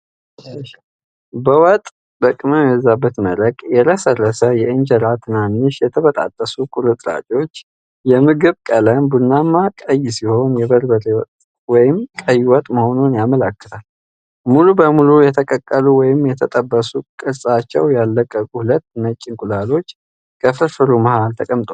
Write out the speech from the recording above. በወጥ (በቅመም የበዛበት መረቅ) የረሰረሰ የእንጀራ ትናንሽ የተበጣጠሱ ቁርጥራጮች። የምግቡ ቀለም ቡናማ ቀይ ሲሆን የበርበሬ ወጥ ወይም ቀይ ወጥ መሆኑን ያመለክታል። ሙሉ በሙሉ የተቀቀሉ (ወይም የተጠበሱና ቅርጻቸውን ያልለቀቁ) ሁለት ነጭ እንቁላሎች ከፍርፍሩ መሃል ላይ ተቀምጠዋል።